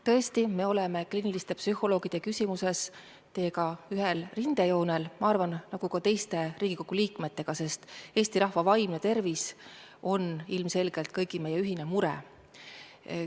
Tõesti, me oleme kliiniliste psühholoogide küsimuses teiega ühel rindejoonel ja ma arvan, et oleme ühel rindejoonel ka teiste Riigikogu liikmetega, sest Eesti rahva vaimne tervis on ilmselgelt meie kõigi ühine mure.